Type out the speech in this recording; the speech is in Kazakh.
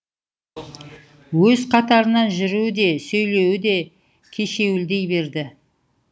өз қатарынан жүруі де сөйлеуі де кешеуілдей берді